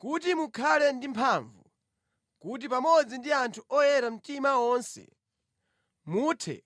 kuti mukhale ndi mphamvu, kuti pamodzi ndi anthu oyera mtima onse muthe